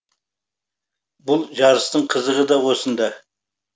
бұл жарыстың қызығы да осында